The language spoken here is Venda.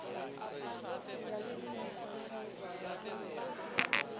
ya tshiimiswa tsha zwa masheleni